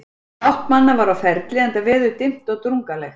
Fátt manna var á ferli, enda veður dimmt og drungalegt.